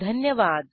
धन्यवाद